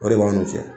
O de b'a n'u cɛ